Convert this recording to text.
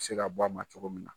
bɛ se ka bɔ ma cogo min na.